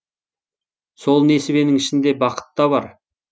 сол несібенің ішінде бақыт та бар